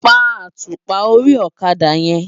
Pá átúpá óri òkadá yèn